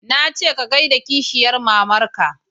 Na ce ka gaida kishiyar mamar ka